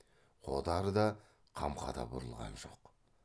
қодар да қамқа да бұрылған жоқ